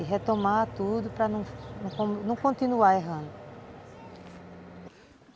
E retomar tudo para não não continuar errando.